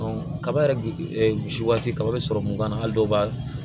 kaba yɛrɛ misi kaba bɛ sɔrɔ mun kan hali dɔw b'a